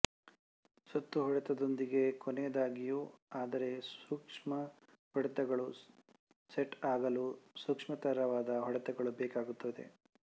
ಸುತ್ತು ಹೊಡೆತದೊಂದಿಗೆ ಕೊನೆಯಾದಾಗ್ಯೂ ಆದರೆ ಸೂಕ್ಷ್ಮ ಹೊಡೆತಗಳು ಸೆಟ್ ಆಗಲು ಸೂಕ್ಷ್ಮತರವಾದ ಹೊಡೆತಗಳು ಬೇಕಾಗುತ್ತದೆ